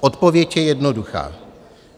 Odpověď je jednoduchá.